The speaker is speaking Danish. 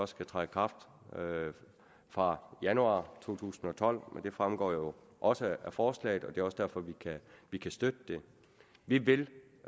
skal træde i kraft fra januar to tusind og tolv men det fremgår jo også af forslaget og det er også derfor vi vi kan støtte det vi vil